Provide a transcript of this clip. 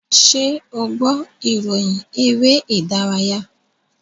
Ṣé o gbọ́ ìròyìn eré-ìdárayá?